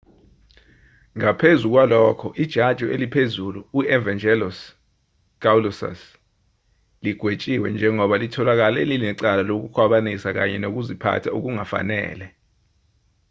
ngaphezu kwalokho ijaji eliphezulu u-evangelos kalousus ligwetshiwe njengoba litholakale linecala lokukhwabanisa kanye nokuziphatha okungafanele